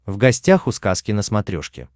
в гостях у сказки на смотрешке